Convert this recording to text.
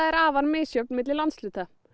afar misjöfn milli landshluta